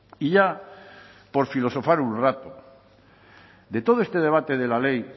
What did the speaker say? y ya por filosofar un rato de todo este debate de la ley